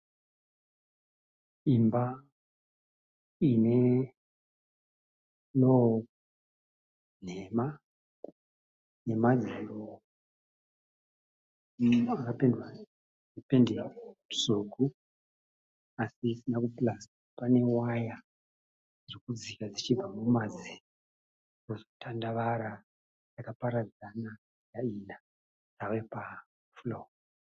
Imba ine furoo nhema nemadziro akapendwa nependi tsvuku asi isina kupurasitwa. Pane waya dzirikudIka dzichibva mumadziro dzozotandavara dzakaparadzana dzave pafuroo.